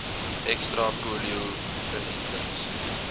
ekstra polio inentings